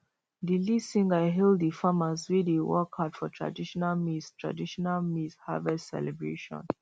the lead singer hail the farmers wey dey work hard for traditional maize traditional maize harvest celebration